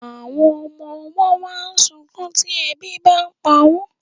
Àwọn ọmọ ọwọ́ máa ń sunkún tí ebi bàa ń pa wọn